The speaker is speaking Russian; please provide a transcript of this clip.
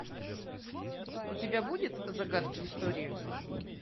у тебя будет загадки истории